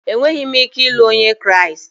Enweghị m ike ịlụ Onye Kraịst